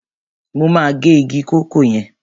Mo máa gé igi kòkó yẹn.